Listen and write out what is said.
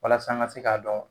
Walasa an ka se k'a dɔn